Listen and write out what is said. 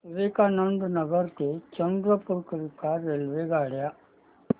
विवेकानंद नगर ते चंद्रपूर करीता रेल्वेगाड्या